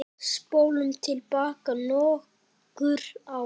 Spólum til baka nokkur ár.